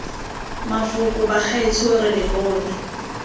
mafoko bagaetsho re lo bone